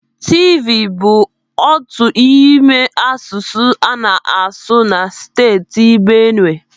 Tivi bụ otu n'ime asụsụ a na-asụ na Steeti Benue.